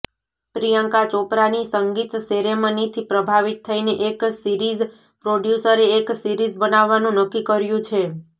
પ્રિયંકા ચોપરાની સંગીત સેરેમનીથી પ્રભાવિત થઈને એક સિરીઝ પ્રોડ્યુસરે એક સીરીઝ બનાવવાનું નક્કી કર્યું છે